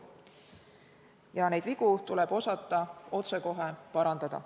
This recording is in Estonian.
Ja neid vigu tuleb osata otsekohe parandada.